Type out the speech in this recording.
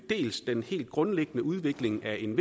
den helt grundlæggende udvikling af en